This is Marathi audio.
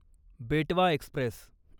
बेटवा एक्स्प्रेस